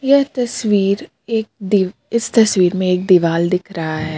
यह तस्वीर एक देव इस तस्वीर में एक दीवाल दिख रहा है.